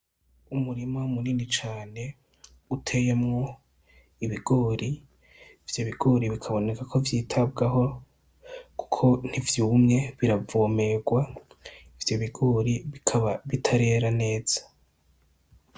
Umurima munini cane uteyemwo ibigori, ivyo bigori bikaboneka ko vyitabwaho kuko ntivyumye biravomegwa ivyo bigori bikaba bitarera neza.